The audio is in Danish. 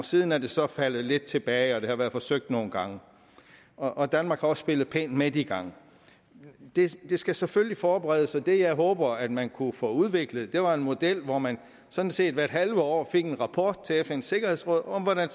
siden er det så er faldet lidt tilbage det har været forsøgt nogle gange og danmark har også spillet pænt med de gange det skal selvfølgelig forberedes og det jeg håber at man kunne få udviklet var en model hvor man sådan set hvert halve år fik en rapport til fns sikkerhedsråd om hvordan